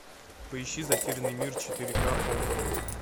поищи затерянный мир четыре ка окко